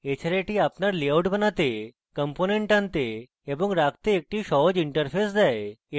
এছাড়া easy আপনাকে আপনার লেআউট বানাতে components টানতে এবং রাখতে একটি সহজ interface দেয়